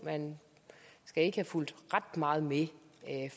man skal ikke have fulgt ret meget med